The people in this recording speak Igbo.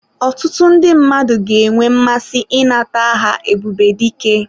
Ọtụtụ ndị mmadụ ga-enwe mmasị ịnata aha Ebubedike.